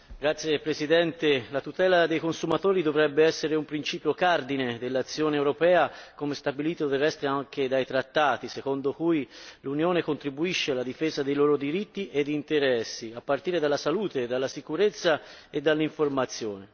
Signor Presidente, onorevoli colleghi, la tutela dei consumatori dovrebbe essere un principio cardine dell'azione europea, come stabilito del resto anche dai trattati, secondo cui l'Unione contribuisce alla difesa dei loro diritti e interessi, a partire dalla salute, dalla sicurezza e dalle informazioni.